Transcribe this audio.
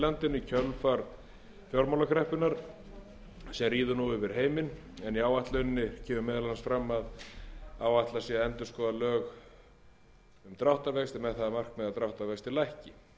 landinu í kjölfar fjármálakreppunnar sem ríður nú yfir heiminn en í áætluninni kemur meðal annars fram að áætlað sé að endurskoða lög um dráttarvexti með það að markmiði að þeir vextir lækki í frumvarpinu eru lagðar til